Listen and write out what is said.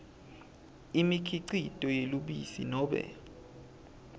imikhicito yelubisi nobe